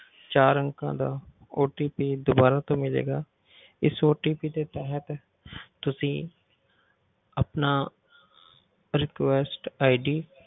ਚਾਰ ਅੰਕਾਂ ਦਾ OTP ਦੁਬਾਰਾ ਤੋਂ ਮਿਲੇਗਾ ਇਸ OTP ਦੇ ਤਹਿਤ ਤੁਸੀਂ ਆਪਣਾ request ID